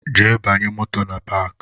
Jee banye moto na paki